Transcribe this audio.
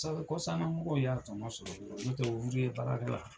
Sabu kɔsannanmɔgɔw y'a tɔ ɔ sɔrɔ baarakɛla